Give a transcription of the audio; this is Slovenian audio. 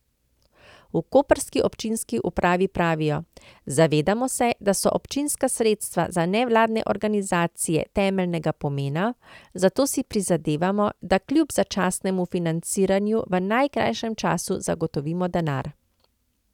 V koprski občinski upravi pravijo: 'Zavedamo se, da so občinska sredstva za nevladne organizacije temeljnega pomena, zato si prizadevamo, da kljub začasnemu financiranju v najkrajšem času zagotovimo denar.